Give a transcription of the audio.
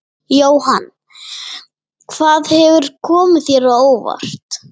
Jóhann: Hvað hefur komið þér á óvart?